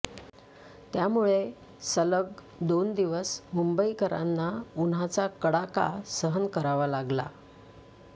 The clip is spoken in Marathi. त्यामुळे सलग दोन दिवस मुंबईकरांना उन्हाचा कडाका सहन करावा लागला